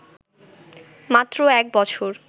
মাত্র এক বছর